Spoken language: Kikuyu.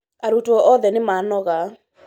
Arutwo othe nĩmanoga